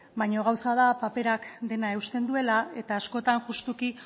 baina gauza da paperak dena eusten duela eta askotan justuki